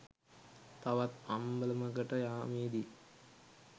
තවත් අම්බලමකට යාමේදී